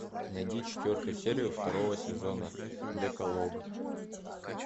нади четвертую серию второго сезона декалог